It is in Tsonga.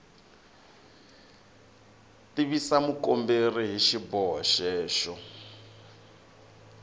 tivisa mukomberi hi xiboho xexo